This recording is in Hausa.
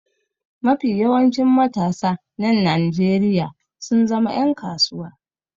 Mafi yawancin matasa na Nnajeriya sun zama yan kasuwa.